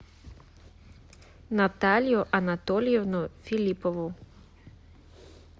наталью анатольевну филиппову